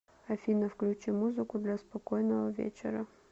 афина включи музыку для спокойного вечера